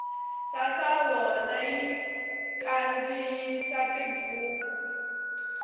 sasavona yi kandziyisa tibuku